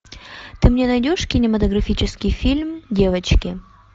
ты мне найдешь кинематографический фильм девочки